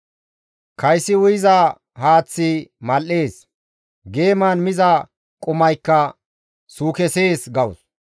Kaysi uyiza haaththi mal7ees; geeman miza qumaykka suukesees» gawus.